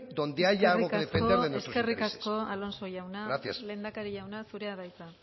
donde haya algo que defender de nuestros intereses gracias eskerrik asko alonso jauna lehendakari jauna zurea da hitza